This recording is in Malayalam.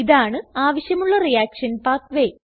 ഇതാണ് ആവശ്യമുള്ള റിയാക്ഷൻ പാത്വേ